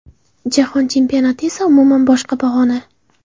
Jahon Chempionati esa umuman boshqa pog‘ona.